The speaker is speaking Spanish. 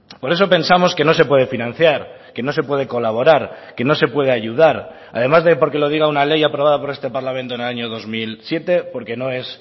por eso pensamos que no se puede financiar que no se puede colaborar que no se puede ayudar además de porque lo diga una ley aprobada por este parlamento en el año dos mil siete por que no es